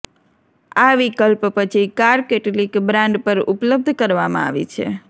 આ વિકલ્પ પછી કાર કેટલીક બ્રાન્ડ પર ઉપલબ્ધ કરવામાં આવી છે